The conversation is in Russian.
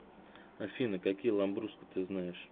афина какие ламбруско ты знаешь